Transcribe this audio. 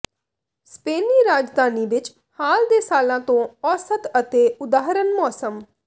ਸਪੇਨੀ ਰਾਜਧਾਨੀ ਵਿਚ ਹਾਲ ਦੇ ਸਾਲਾਂ ਤੋਂ ਔਸਤ ਅਤੇ ਉਦਾਹਰਨ ਮੌਸਮ